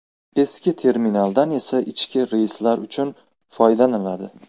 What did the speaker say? Eski terminaldan esa ichki reyslar uchun foydalaniladi.